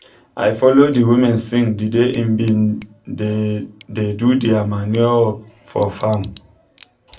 i follow de women sing d day em been da da do dia manure work for faarm